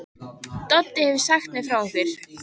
Doddi hefur sagt mér frá ykkur.